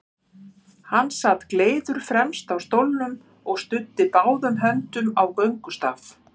Hann sat gleiður fremst á stólnum og studdi báðum höndum á göngustaf.